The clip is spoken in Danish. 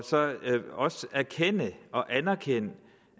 erkende og anerkende